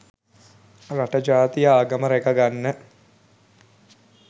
රට ජාතිය ආගම රැක ගන්න